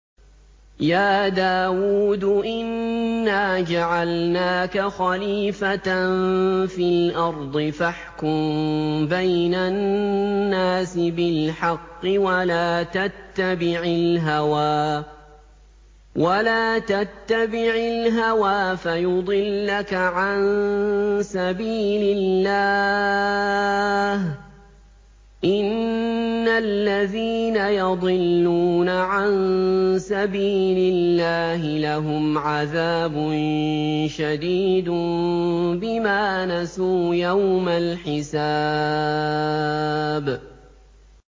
يَا دَاوُودُ إِنَّا جَعَلْنَاكَ خَلِيفَةً فِي الْأَرْضِ فَاحْكُم بَيْنَ النَّاسِ بِالْحَقِّ وَلَا تَتَّبِعِ الْهَوَىٰ فَيُضِلَّكَ عَن سَبِيلِ اللَّهِ ۚ إِنَّ الَّذِينَ يَضِلُّونَ عَن سَبِيلِ اللَّهِ لَهُمْ عَذَابٌ شَدِيدٌ بِمَا نَسُوا يَوْمَ الْحِسَابِ